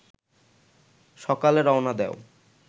সকালে রওনা দেও